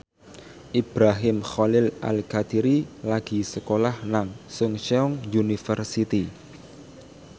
Ibrahim Khalil Alkatiri lagi sekolah nang Chungceong University